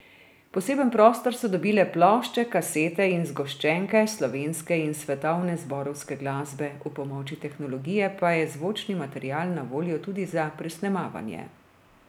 Poseben prostor so dobile plošče, kasete in zgoščenke slovenske in svetovne zborovske glasbe, ob pomoči tehnologije pa je zvočni material na voljo tudi za presnemavanja.